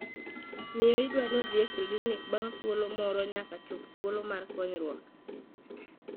Miyo idwani odhi e klinik bang' thuolo moro nyaka chop thuolo mar konyruok.